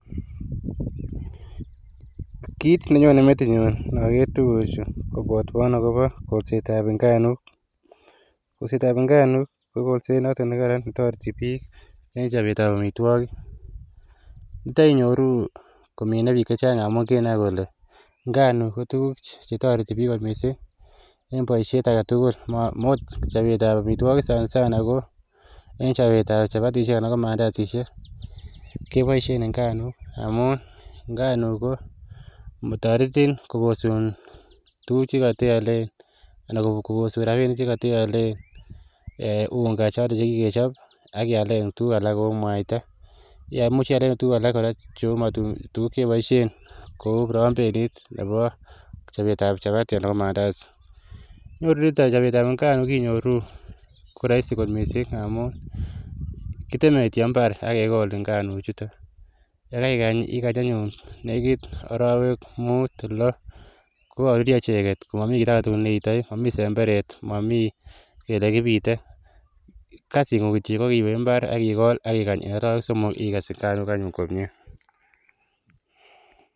Kiit ne nyone metinyun inaker tuguchu kopwatwan akopa kolseet ap nganuk. Kolset ap nganuk ko kolset notok ne kararan ne tareti pik eng' chopetap amitwogik. Yuto inyoru komine pik che chang' amu kinai kole nganuk ko tuguk che tareti pik kot missing' eng' poishet age tugul. Ma akot chopet ap amitwogik sanasana ko eng' chopetap chapatishek anan ko mandasishek ko kepoishe nganuk amun nganuk ko taretin koposun tuguk che katealen, koposun rapinik che kate alen unga chotok che kikechop ak iale tuguk alak cheu mwaita. Imuch iale tuguk alak kora. Tuguk che ipoishen kou prambenit nepo chopet ap chapati anan ko mandasi. Inyoru nitok chopet ap nganuk ko inyoru ko raisi kot missing' amu kiteme kityo mbar ak kekol nganuchutok. Ye kaikany anyun ye kiit arawek mut, lo ko karurya icheget, mami ki ne iitai. Mami semberet, mami kele kipite. Kasung'ung' ko iwe mbar ikol ak ikany anyun arawek somok korurya